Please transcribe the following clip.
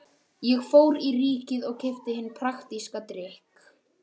Ég fór í Ríkið og keypti hinn praktíska drykk